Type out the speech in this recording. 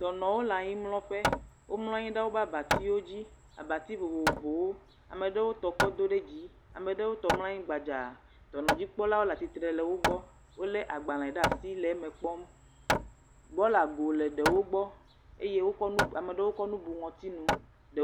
Dɔnɔwo le anyimlɔƒe. Womlɔ anyi ɖe woƒe abatiwo dzi. Abato vovovowo ame aɖewo tɔ kɔ do ɖe dzi, ame aɖewo tɔ mɔ anyi gbadza. Dɔnɔdzikpɔlawo le atsitre le wo gbɔ. Wo le agbale ɖe asi le eme kpɔm. bɔlago le ɖewo gbɔ eye ame aɖewo kɔ nu bu ŋutsi nu.